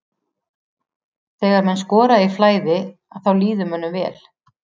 Þegar menn skora í flæði að þá líður mönnum vel.